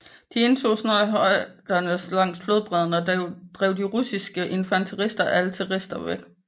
De indtog snart højderne langs flodbredden og drev de russiske infanterister og artillerister bort